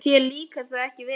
Þér líkaði það ekki vel.